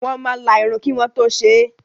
Wọ́n máa la irun kí wọ́n tó ṣe é.